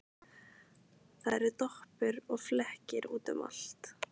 Það eru doppur og flekkir út um allt.